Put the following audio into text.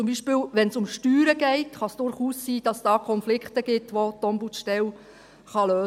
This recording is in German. Zum Beispiel, wenn es um Steuern geht, kann es durchaus sein, dass es da Konflikte gibt, welche die Ombudsstelle lösen kann.